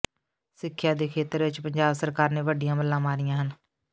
ਸਿੱਖਿਆ ਦੇ ਖੇਤਰ ਵਿਚ ਪੰਜਾਬ ਸਰਕਾਰ ਨੇ ਵੱਡੀਆਂ ਮੱਲਾਂ ਮਾਰੀਆਂ ਹਨ